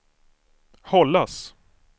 hållas